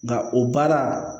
Nka o baara